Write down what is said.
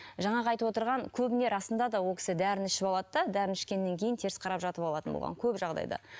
жаңағы айтып отырған көбіне расында да ол кісі дәріні ішіп алады да дәріні ішкеннен кейін теріс қарап жатып алатын болған көп жағдайда